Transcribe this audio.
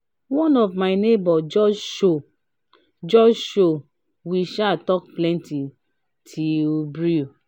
one of my neighbour just show just show we sha talk plenty still brew.